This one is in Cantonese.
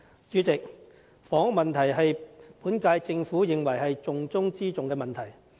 主席，房屋問題被本屆政府認為是重中之重的問題。